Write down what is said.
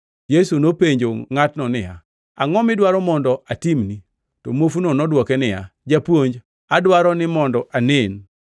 Yesu nopenjo ngʼatno niya, “Angʼo midwaro mondo atimni?” To muofuno nodwoke niya, “Japuonj, adwaro ni mondo anen.”